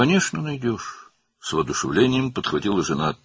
"Əlbəttə, taparsan," - həyat yoldaşı həvəslə sözə başladı.